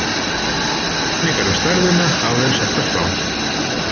nokkrar kenningar um stærðina hafa verið settar fram